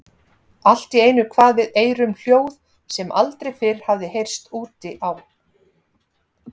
Allt í einu kvað við eyrum hljóð sem aldrei fyrr hafði heyrst úti á